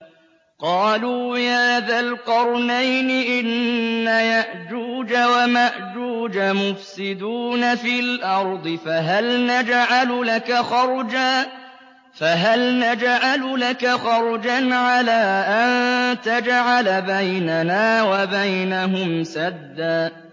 قَالُوا يَا ذَا الْقَرْنَيْنِ إِنَّ يَأْجُوجَ وَمَأْجُوجَ مُفْسِدُونَ فِي الْأَرْضِ فَهَلْ نَجْعَلُ لَكَ خَرْجًا عَلَىٰ أَن تَجْعَلَ بَيْنَنَا وَبَيْنَهُمْ سَدًّا